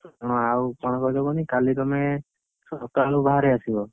ହଁ ଆଉ କଣ କହିଲ କୁହନୀ କାଲି ତମେ, ସକାଳୁ ବାହାରି ଆସିବ।